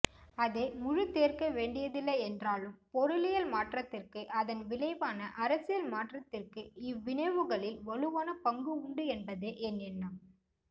அதை முழுதேற்கவேண்டியதில்லை என்றாலும் பொருளியல் மாற்றத்திற்கு அதன் விளைவான அரசியல்மாற்றத்திற்கு இவ்விணைவுகளில் வலுவான பங்கு உண்டு என்பதே என் எண்ணம்